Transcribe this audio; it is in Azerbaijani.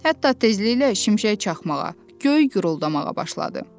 Hətta tezliklə şimşək çaxmağa, göy guruldamağa başladı.